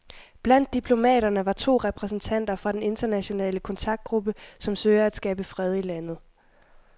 Blandt diplomaterne var to repræsentanter fra den internationale kontaktgruppe, som søger at skabe fred i landet.